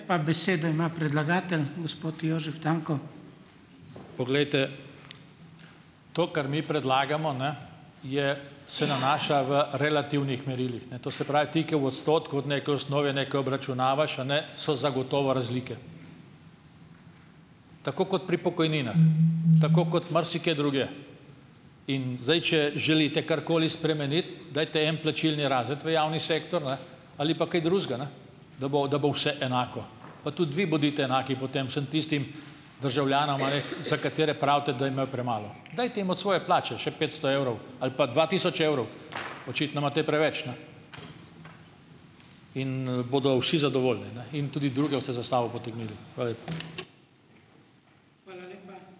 Pa besedo ima predlagatelj, gospod Jožef Tanko. Poglejte, to, kar mi predlagamo, ne, je se nanaša v relativnih merilih, ne. To se pravi, ti, ki v odstotku od neke osnove nekaj obračunavaš, a ne, so zagotovo razlike, tako kot pri pokojninah tako kot marsikje drugje. In zdaj, če želite karkoli spremeniti, dajte en plačilni razred v javni sektor, ne, ali pa kaj drugega, ne, da bo da bo vse enako. Pa tudi vi bodite enaki, potem vsem tistim državljanom, a ne, za katere pravite, da je imel premalo. Dajte jim od svoje plače še petsto evrov ali pa dva tisoč evrov - očitno imate preveč, ne - in, bodo vsi zadovoljni, ne, in tudi druge boste za sabo potegnili. Hvala lepa. Hvala lepa.